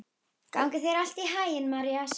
Gangi þér allt í haginn, Marías.